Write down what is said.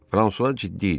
Fransua ciddi idi.